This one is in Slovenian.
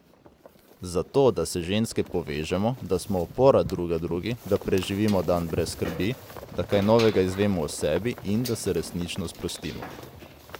Zato, da se ženske povežemo, da smo opora druga drugi, da preživimo dan brez skrbi, da kaj novega izvemo o sebi in da se resnično sprostimo.